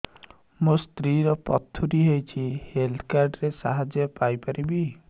ମୋ ସ୍ତ୍ରୀ ର ପଥୁରୀ ହେଇଚି ହେଲ୍ଥ କାର୍ଡ ର ସାହାଯ୍ୟ ପାଇପାରିବି